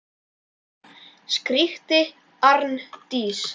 skríkti Arndís.